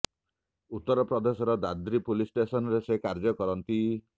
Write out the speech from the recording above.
ଉତ୍ତର ପ୍ରଦେଶର ଦାଦ୍ରି ପୁଲିସ ଷ୍ଟେସନରେ ସେ କାର୍ଯ୍ୟ କରନ୍ତି